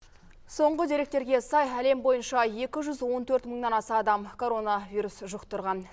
соңғы деректерге сай әлем бойынша екі жүз он төрт мыңнан аса адам коронавирус жұқтырған